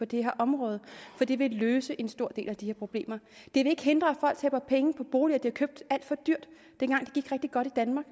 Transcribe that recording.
det her område for det vil løse en stor del af de her problemer det vil ikke hindre at folk taber penge på boliger de har købt alt for dyrt dengang det gik rigtig godt i danmark